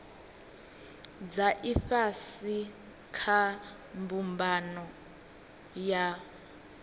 dza ifhasi kha mbumbano ya